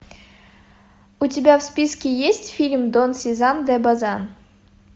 у тебя в списке есть фильм дон сезар де базан